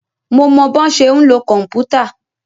Mo mọ bọ́ ṣe ń lo kòmpútà.